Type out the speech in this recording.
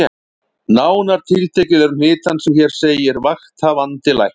Nánar tiltekið eru hnit hans sem hér segir: Vakthafandi Læknir